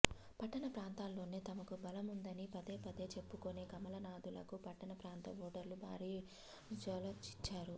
పట్టణ ప్రాంతాల్లోనే తమకు బలముందని పదే పదే చెప్పుకునే కమలనాథులకు పట్టణ ప్రాంత ఓటర్లు భారీ ఝలక్ ఇచ్చారు